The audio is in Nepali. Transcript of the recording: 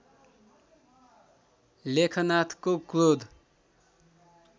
लेखनाथको क्रोध